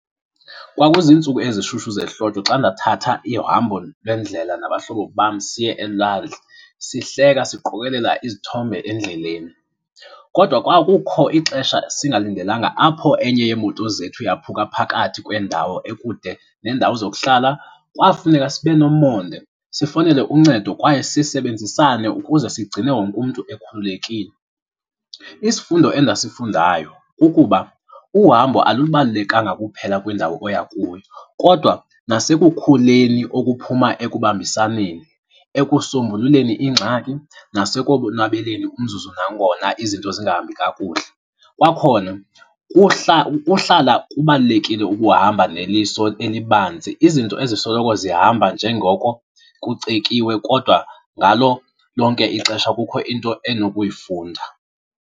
Kwakuziintsuku ezishushu zehlobo xa ndathatha uhambo lwendlela nabahlobo bam siye elwandle, sihleka siqokelela izithombe endleleni. Kodwa kwakukho ixesha singalindelanga apho enye yeemoto zethu yaphuka phakathi kwendawo ekude nendawo zokuhlala. Kwafuneka sibe nomonde, sifowunele uncedo kwaye sisebenzisane ukuze sigcine wonke umntu ekhululekile. Isifundo endasifundayo kukuba uhambo alubalulekanga kuphela kwindawo oya kuyo kodwa nasekukhuleni okuphuma ekubambisaneni, ekusombululeni iingxaki nasekolonwabeleni umzuzu nangona izinto zingahambi kakuhle. Kwakhona kuhla, kuhlala kubalulekile ukuhamba neliso elibanzi, izinto ezisoloko zihamba njengoko kucetyiwe kodwa ngalo lonke ixesha kukho into endinokuyifunda.